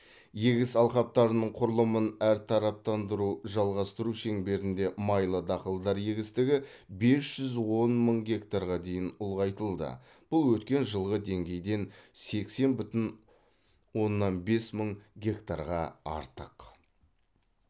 егіс алқаптарының құрылымын әртараптандыруды жалғастыру шеңберінде майлы дақылдар егістігі бес жүз он мың гектарға дейін ұлғайтылды бұл өткен жылғы деңгейден сексен бүтін оннан бес мың гектарға артық